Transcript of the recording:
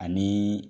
Ani